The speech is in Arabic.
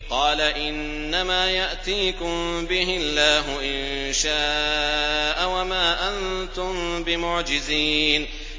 قَالَ إِنَّمَا يَأْتِيكُم بِهِ اللَّهُ إِن شَاءَ وَمَا أَنتُم بِمُعْجِزِينَ